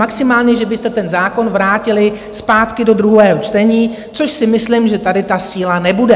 Maximálně že byste ten zákon vrátili zpátky do druhého čtení, což si myslím, že tady ta síla nebude.